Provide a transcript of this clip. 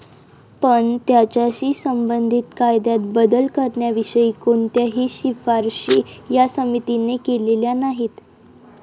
पण, त्याच्याशी संबंधित कायद्यात बदल करण्याविषयी कोणत्याही शिफारशी या समितीने केलेल्या नाहीत.